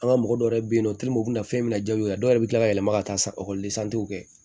An ka mɔgɔ dɔw yɛrɛ be yen nɔ u bina fɛn min na jabi kɛ dɔw yɛrɛ bi kila ka yɛlɛma ka taa kɛ